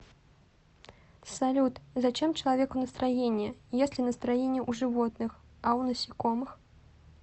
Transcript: салют зачем человеку настроение есть ли настроение у животных а у насекомых